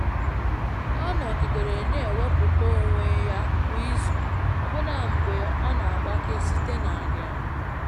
Ọ nọgidere na-ewepụta onwe ya kwa izu, ọbụna mgbe ọ n'agbake site na nria nria.